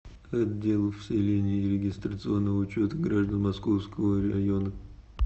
отдел вселения и регистрационного учета граждан московского района